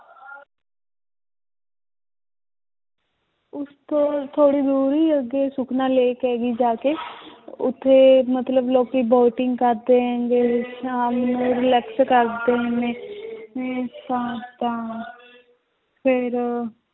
ਉਸ ਤੋਂ ਥੋੜ੍ਹੀ ਦੂਰ ਹੀ ਅੱਗੇ ਸੁਖਨਾ lake ਹੈਗੀ ਜਾ ਕੇ ਉੱਥੇ ਮਤਲਬ ਲੋਕੀ boating ਕਰਦੇ ਹੈਗੇ ਸ਼ਾਮ ਨੂੰ relax ਕਰਦੇ ਨੇ ਤਾਂ ਤਾਂ ਫਿਰ